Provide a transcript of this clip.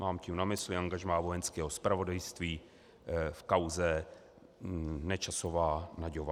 Mám tím na mysli angažmá Vojenského zpravodajství v kauze Nečasová Nagyová.